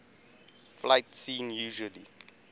fight scene usually